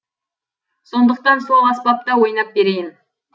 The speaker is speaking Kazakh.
сондықтан сол аспапта ойнап берейін